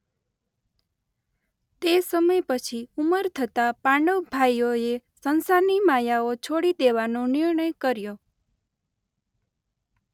તે સમય પછી ઉંમર થતાં પાંડવ ભાઈઓએ સંસારની માયાઓ છોડી દેવાનો નિર્ણય કર્યો.